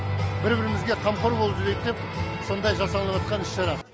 ббір бірімізге қамқор болып жүрейік деп сондай жасалыныватқан іс шара